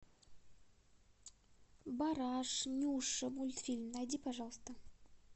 бараш нюша мультфильм найди пожалуйста